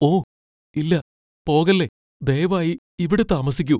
ഓ ഇല്ല... പോകല്ലേ. ദയവായി ഇവിടെ താമസിക്കൂ.